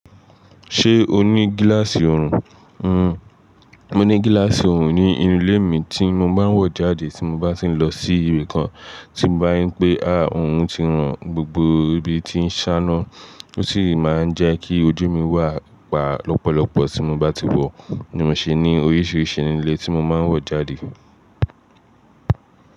Ṣé o ní gíláàsì orùn? Mo ní gíláàsì orùn ní inú ilé mi tí mo má ń wọ̀ jáde tí mo bá ti ń lọ sí ibi kan, tí mo bá rín pé, àá orùn ti ràn gbogbo ibi tí ń ṣáná, ó sì máa ń jẹ́ kí ojú mi wà pa lọ́pọ̀lọpọ̀ tí mo bá ti wọ̀, ni mo ṣe ní oríṣiríṣi ilé tí mo máa ń wọ̀ jáde.